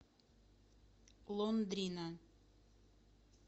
лондрина